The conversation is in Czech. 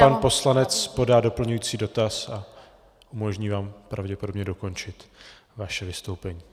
Pan poslanec podá doplňující dotaz a umožní vám pravděpodobně dokončit vaše vystoupení.